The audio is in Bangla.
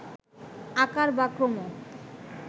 আকার বা ক্রম